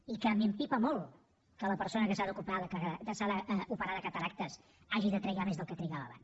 i que m’empipa molt que la persona que s’ha d’operar de cataractes hagi de trigar més del que trigava abans